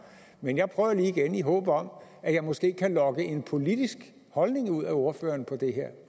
men jeg prøver lige igen i håbet om at jeg måske kan lokke en politisk holdning ud af ordføreren